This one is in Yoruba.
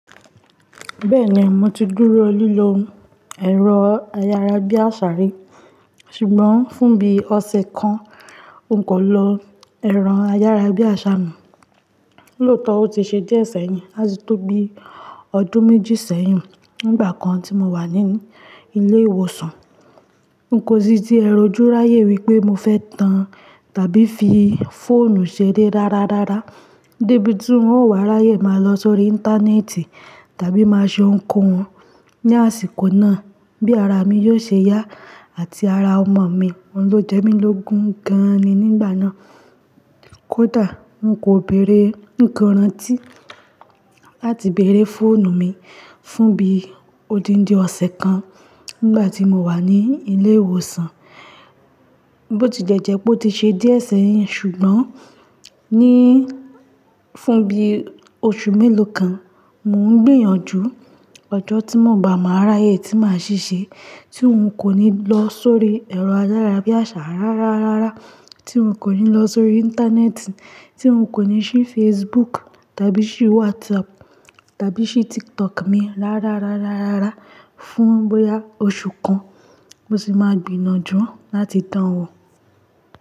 Bẹ́ẹ̀ni mo ti dúró lílo ẹ̀rọ ayára bí àṣá rí, ṣùgbọ́n fún bí ọ̀sẹ̀ kan n kò lọ ẹro ayára bí àṣá mọ̀. Lóòótọ́ ó ti ṣe díẹ̀ ṣẹ̀yìn láti tó bi ọdún méjì sẹ́yìn nígbà kan tí mo wà nínú ilé ìwòsàn. N kò sí tí ẹ rọjú ráyè wípé mo fẹ́ tàn tàbí fi fóònù ṣeré rárárárá. Débi tí n ó wà ráyè máa lọ sórí íńtánẹ́ẹ̀tì tàbí máa ṣọ ǹkan wọn. Ni àsìkò náà bí ara mi yóò ṣe yá àti ara ọmọ mi wọn ló jẹ mí lógun gan-an ni nígbà náà. Kódà n kò bere ǹkan ranti láti bèèrè fóònù mi fún bí odindi ọ̀sẹ̀ kan nígbà tí mo wà ní ilé ìwòsàn. Bó ti de jẹ́ pé ó ti ṣe díẹ̀ ṣẹ̀yìn ṣùgbọ́n níí fún bí oṣù mélòó kan mò ń gbìyànjú ọjọ́ tí mò ń gba máa ráyè tí màá ṣèṣe tí n kò ní lọ sórí ẹ̀rọ ayára bí àṣá rárárárá, tí n kò ní lọ sórí íńtánẹ́ẹ̀tì, tí n kò ní ṣí Facebook tàbí ṣí WhatsApp tàbí ṣí TikTok mi rárárárárá fún bóyá oṣù kan. Mo sì máa gbìyànjú láti dan wọ́